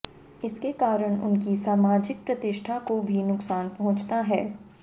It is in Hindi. इसके कारण उनकी सामाजिक प्रतिष्ठा को भी नुकसान पहुंचता है